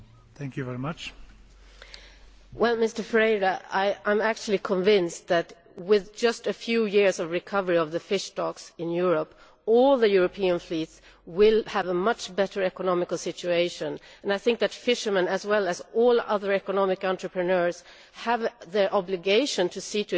I am actually convinced that, with just a few years of recovery of the fish stocks in Europe, all the European fleets will be in a much better economic situation. I think that fishermen, as well as all other economic entrepreneurs, have the obligation to see to it that their activity is economically viable.